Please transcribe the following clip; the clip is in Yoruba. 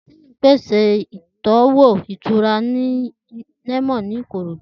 Teem pèsè ìtọ́wò ìtura lẹ́mọ́nì ìkorò.